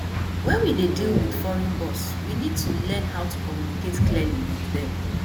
when we dey deal with foreign boss we need to learn how to communicate clearly with them